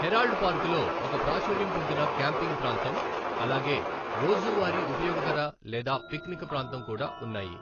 Herald పార్కులో ఒక ప్రాచుర్యం పొందిన క్యాంపింగ్ ప్రాంతం, అలాగే రోజువారీ ఉపయోగకర లేదా పిక్నిక్ ప్రాంతం కూడా ఉన్నాయి.